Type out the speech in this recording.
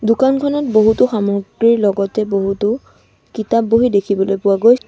দোকানখনত বহুতো সামগ্ৰীৰ লগতে বহুতো কিতাপ বহি দেখিবলৈ পোৱা গৈ--